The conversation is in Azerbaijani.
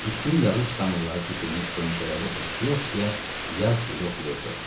Üstünə yağış damlaları tökülmüş qönçələri oxşaya-oxşaya yaz yeli oxuyordu.